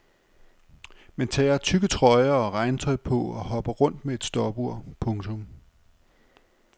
Man tager tykke trøjer og regntøj på og hopper rundt med et stopur. punktum